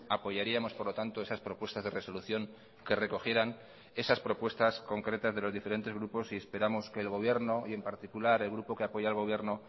apoyaríamos por lo tanto esas propuestas de resolución que recogieran esas propuestas concretas de los diferentes grupos y esperamos que el gobierno y en particular el grupo que apoya al gobierno